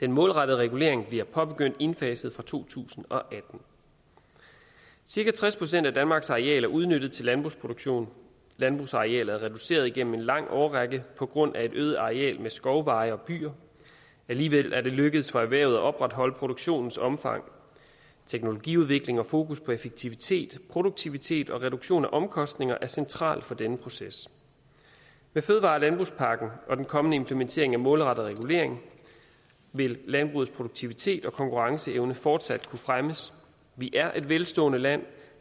den målrettede regulering bliver påbegyndt indfaset fra to tusind og atten cirka tres procent af danmarks areal er udnyttet til landbrugsproduktion landbrugsarealet er reduceret igennem en lang årrække på grund af et øget areal med skovveje og byer alligevel er det lykkedes for erhvervet at opretholde produktionens omfang teknologiudvikling og fokus på effektivitet produktivitet og reduktion af omkostninger er centralt for denne proces med fødevare og landbrugspakken og den kommende implementering af målrettet regulering vil landbrugets produktivitet og konkurrenceevne fortsat kunne fremmes vi er et velstående land